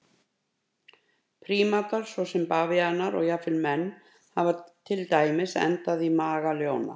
Prímatar svo sem bavíanar og jafnvel menn hafa til dæmis endað í maga ljóna.